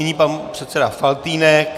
Nyní pan předseda Faltýnek.